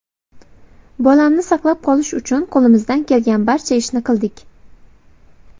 Bolamni saqlab qolish uchun qo‘limizdan kelgan barcha ishni qildik.